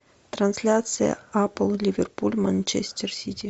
трансляция апл ливерпуль манчестер сити